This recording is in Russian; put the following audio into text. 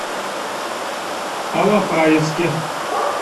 алапаевске